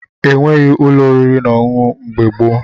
E nweghị ụlọ oriri na ọṅụṅụ mgbe gboo.